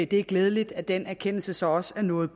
det er glædeligt at den erkendelse så også er nået